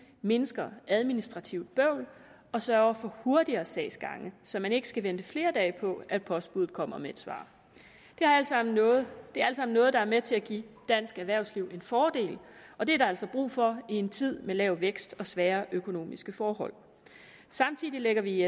mindsker administrativt bøvl og sørger for hurtigere sagsgange så man ikke skal vente flere dage på at postbudet kommer med et svar det er alt sammen noget noget der med til at give dansk erhvervsliv en fordel og det er der altså brug for i en tid med lav vækst og svære økonomiske forhold samtidig lægger vi i